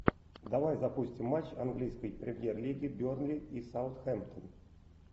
давай запустим матч английской премьер лиги бернли и саутгемптон